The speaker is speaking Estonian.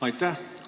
Aitäh!